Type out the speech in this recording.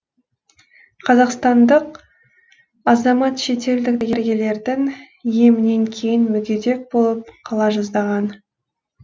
қазақстандық азамат шетелдік дәрігерлердің емінен кейін мүгедек болып қала жаздаған